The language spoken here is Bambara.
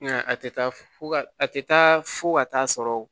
Nka a tɛ taa fo ka a tɛ taa fo ka taa sɔrɔ